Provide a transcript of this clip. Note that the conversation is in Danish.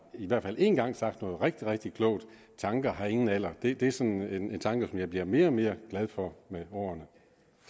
i hvert fald en gang har sagt noget rigtig rigtig klogt tanker har ingen alder det er sådan en tanke som jeg bliver mere og mere glad for med årene